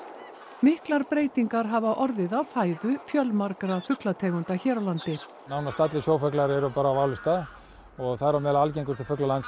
miklar breytingar hafa orðið á fæðu fjölmargra fuglategunda hér á landi nánast allir sjófuglar eru bara á válista og þar á meðal algengustu fuglar landsins